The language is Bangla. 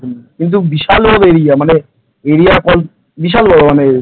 কিন্তু বিশাল বড় area মানে area বল বিশাল বড় মানে